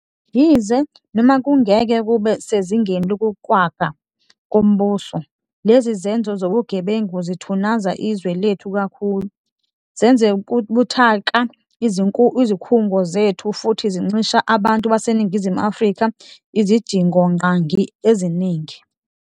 Yize noma kungeke kube sezingeni lokuqhwagwa kombuso, lezi zenzo zobugebengu zithunaza izwe lethu kakhulu, zenze buthaka izikhungo zethu futhi zincisha abantu baseNingizimu Afrika izidingongqangi eziningi.